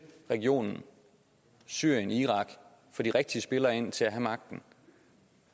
regionen syrien irak får de rigtige spillere ind til at have magten